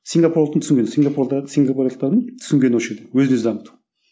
сингапурлықтың түсінгені сингапурда сингапурлықтардың түсінгені осы жерде өзін өзі дамыту